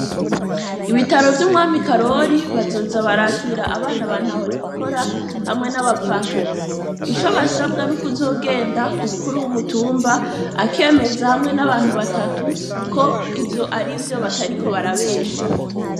Ibitaro vy'umwami Karori bazoza barakira abana ba ntahonikora hamwe n'abapfakazi. Ico basabwa, ni ukuzogenda ku mukuru w'umutumba akemeza, hamwe n'abantu batatu, ko ivyo ari vyo, batariko barabesha.